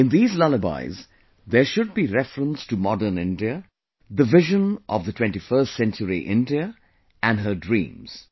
In these lullabies there should be reference to modern India, the vision of 21st century India and its dreams